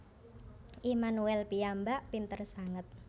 Immanuel piyambak pinter sanget